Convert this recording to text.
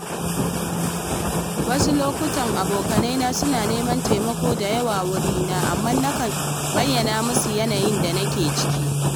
Wasu lokuta abokaina suna neman taimako da yawa wurina, amma nakan bayyana musu yanayin da nake ciki.